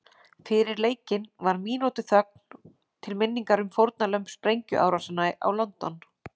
Fyrir leikinn var mínútu þögn til minningar um fórnarlömb sprengjuárásanna á London.